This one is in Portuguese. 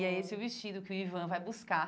E é esse o vestido que o Ivan vai buscar.